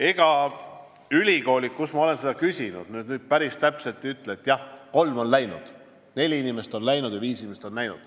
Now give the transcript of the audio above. Ega ülikoolid, kus ma olen seda küsinud, päris täpselt ei ole öelnud, et jah, kolm inimest on läinud, neli inimest on läinud või viis inimest on läinud.